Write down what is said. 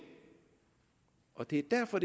og det er derfor